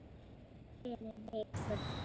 Fyrir viku.